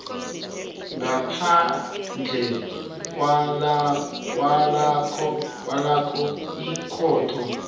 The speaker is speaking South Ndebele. ngaphandle kwalokha ikhotho